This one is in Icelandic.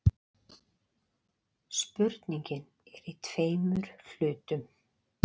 Spurningin er í tveimur hlutum.